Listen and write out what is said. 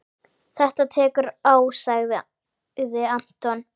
Þetta tekur á sagði Anton.